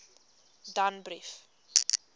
danbrief